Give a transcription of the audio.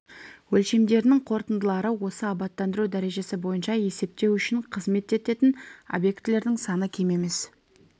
өлшемдерінің қорытындылары осы абаттандыру дәрежесі бойынша есептеу үшін қызмет ететін объектілердің саны кем емес